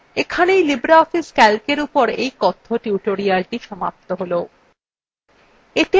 এখানেই libreoffice calcএর এই কথ্য tutorialthe সমাপ্ত হল